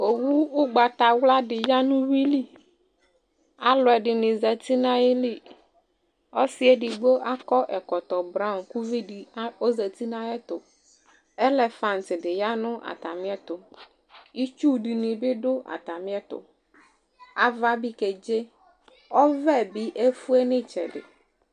Udo ʋgbatawla dɩ ya nʋ uyui li Alʋɛdɩnɩ zati nʋ ayili Ɔsɩ edigbo akɔ ɛkɔtɔ braɔn kʋ uvi dɩ ɔzati nʋ ayɛtʋ Elefant dɩ ya nʋ atamɩɛtʋ Itsu dɩnɩ bɩ dʋ atamɩɛtʋ Ava bɩ kedze, ɔvɛ bɩ efue nʋ ɩtsɛdɩ